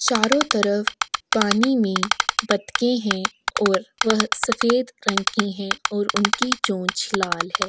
चारो तरफ पानी में बदके है और वह सफ़ेद रंग की है और उनकी चोंच लाल है।